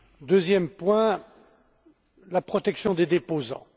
Deuxième point la protection des déposants.